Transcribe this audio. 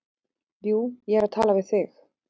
Já, ég er að tala við þig!